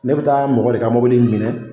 Ne bɛ taa mɔgɔ de ka mɔbili minɛn.